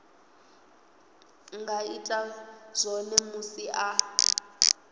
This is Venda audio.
nga ita zwone musi a